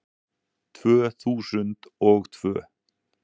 Tvö þúsund og tvö